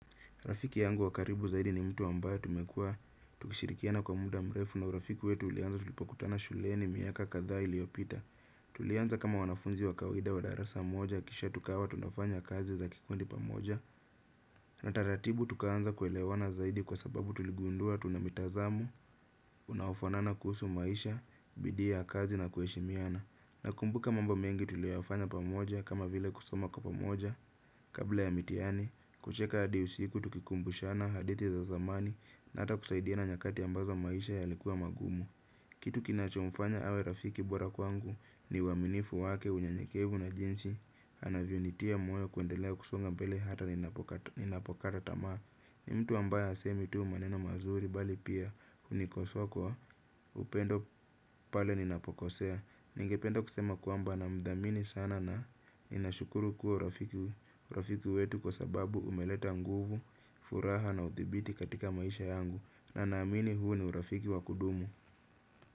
Rafiki yangu wa karibu zaidi ni mtu ambaye tumekuwa. Tukishirikiana kwa muda mrefu na urafiki wetu ulianza tulipokutana shuleni miaka kadhaa iliyopita. Tulianza kama wanafunzi wa kawaida wa darasa moja, kisha tukawa tunafanya kazi za kikundi pamoja. Na taratibu tukaanza kuelewana zaidi kwa sababu tuligundua tuna mitazamo, unaofanana kuhusu maisha, bidii ya kazi na kuheshimiana. Nakumbuka mambo mengi tuliyoyafanya pamoja kama vile kusoma kwa pamoja. Kabla ya mitihani, kucheka hadi usiku tukikumbushana hadithi za zamani na hata kusaidiana nyakati ambazo maisha yalikuwa magumu. Kitu kinachomfanya awe rafiki bora kwangu ni uaminifu wake unyenyekevu na jinsi, anavyonitia moyo kuendelea kusonga mbele hata ninapokata tamaa. Ni mtu ambaye hasemi tu maneno mazuri bali pia hunikosoa kwa upendo pale ninapokosea. Ningependa kusema kwamba namdhamini sana na ninashukuru kuwa urafiki wetu kwa sababu umeleta nguvu, furaha na uthibiti katika maisha yangu. Na naamini huu ni urafiki wa kudumu.